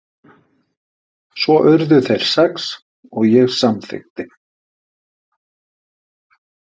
Svo urðu þeir sex og ég samþykkti.